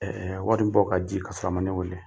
Ɛɛɛ wari in bɔ ka di ka sɔrɔ a ma ne wele